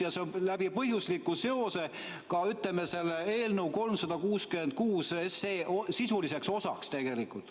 Ja see on läbi põhjusliku seose ka, ütleme, selle eelnõu 366 sisuliseks osaks tegelikult.